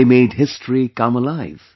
They made history come alive